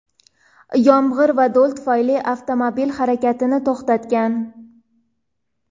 yomg‘ir va do‘l tufayli avtomobil harakatini to‘xtatgan.